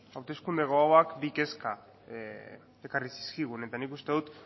hauteskunde gogoak bi kezka ekarri zizkigun eta nik uste dut